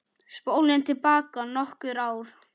Spólum til baka nokkur ár.